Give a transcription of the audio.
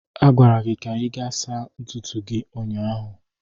A gwara gị ka ị gaa saa ntutu gị ụnyaahụ.